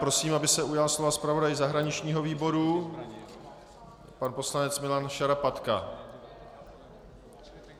Prosím, aby se ujal slova zpravodaj zahraničního výboru pan poslanec Milan Šarapatka.